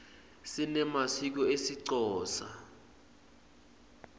sinemasiko esixhosa